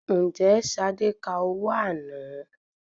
Ǹjẹ́ Ṣadé ka owó àná?